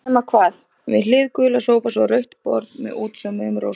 Nema hvað, við hlið gula sófans var rautt borð með útsaumuðum rósum.